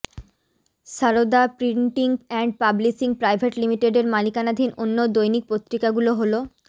Sarada printing and publishing private লিমিটেডের মালিকানাধীন অন্য দৈনিক পত্রিকা গুলো হলোঃ